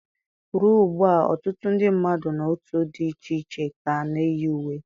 Ruo ugbu a, ọtụtụ ndị mmadụ na otu dị iche iche ka na-eyi uwe.